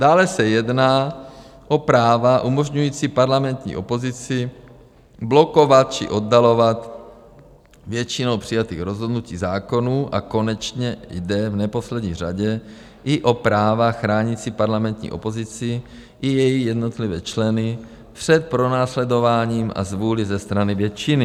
Dále se jedná o práva umožňující parlamentní opozici blokovat či oddalovat většinou přijatých rozhodnutí, zákonů, a konečně jde v neposlední řadě i o práva chránící parlamentní opozici i její jednotlivé členy před pronásledováním a zvůlí ze strany většiny.